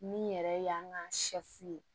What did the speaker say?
Min yɛrɛ y'an ka